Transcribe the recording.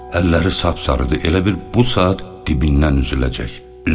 Əlləri sapsarıdır, elə bil bu saat dibindən üzüləcək.